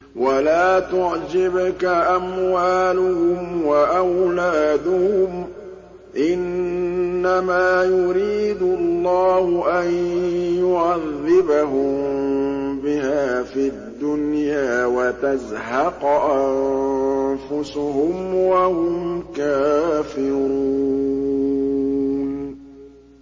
وَلَا تُعْجِبْكَ أَمْوَالُهُمْ وَأَوْلَادُهُمْ ۚ إِنَّمَا يُرِيدُ اللَّهُ أَن يُعَذِّبَهُم بِهَا فِي الدُّنْيَا وَتَزْهَقَ أَنفُسُهُمْ وَهُمْ كَافِرُونَ